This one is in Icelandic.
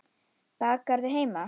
Bakarðu heima?